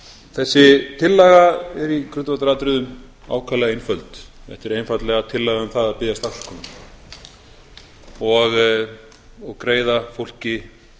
þessi tillaga er í grundvallaratriðum ákaflega einföld þetta er einfaldlega tillaga um það að biðjast afsökunar og greiða fólki